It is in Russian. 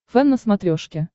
фэн на смотрешке